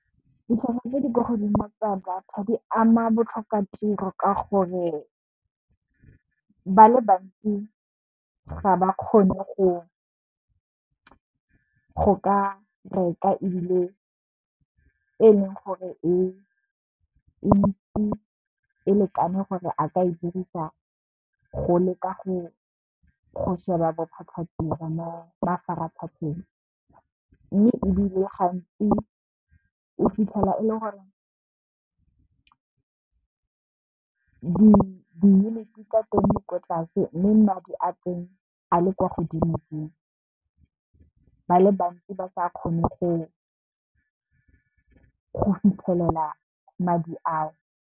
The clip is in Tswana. Ditlhwatlhwa tse di ko godimo tsa data di ama botlhokatiro ka gore ba le bantsi ga ba kgone go ka reka ebile e leng gore e ntsi e lekane gore a ka e dirisa go leka go sheba bothata bo mo mafaratlhatlheng. Mme, ebile gantsi o fitlhela e le gore diyuniti tsa teng di kwa tlase mme, madi a teng a le kwa godimo ba le bantsi ba sa kgone go fitlhelela madi ao.